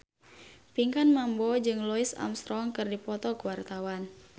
Pinkan Mambo jeung Louis Armstrong keur dipoto ku wartawan